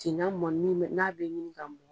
Finɲan mɔni bɛ n'a bɛ ɲininka mɔn.